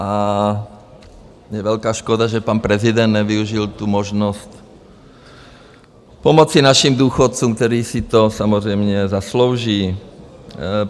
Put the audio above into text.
A je velká škoda, že pan prezident nevyužil tu možnost pomoci našim důchodcům, kteří si to samozřejmě zaslouží.